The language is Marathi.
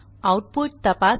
आऊटपुट तपासा